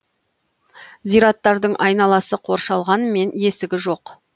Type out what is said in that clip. зираттардың айналасы қоршалғанмен есігі жоқ